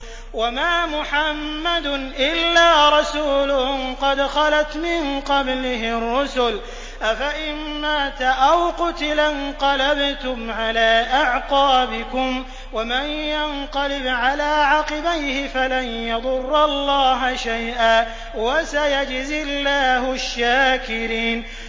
وَمَا مُحَمَّدٌ إِلَّا رَسُولٌ قَدْ خَلَتْ مِن قَبْلِهِ الرُّسُلُ ۚ أَفَإِن مَّاتَ أَوْ قُتِلَ انقَلَبْتُمْ عَلَىٰ أَعْقَابِكُمْ ۚ وَمَن يَنقَلِبْ عَلَىٰ عَقِبَيْهِ فَلَن يَضُرَّ اللَّهَ شَيْئًا ۗ وَسَيَجْزِي اللَّهُ الشَّاكِرِينَ